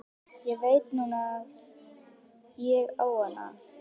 Ég veit núna að ég á hann að.